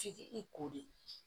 F'i k'i ko de